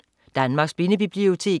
Danmarks Blindebibliotek